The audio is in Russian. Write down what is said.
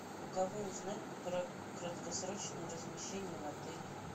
у кого узнать про краткосрочное размещение в отеле